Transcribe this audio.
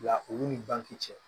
Nka olu ni banki cɛ